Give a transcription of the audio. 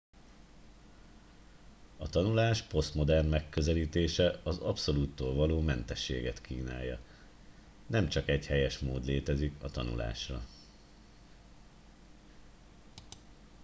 a tanulás posztmodern megközelítése az abszolúttól való mentességet kínálja nem csak egy helyes mód létezik a tanulásra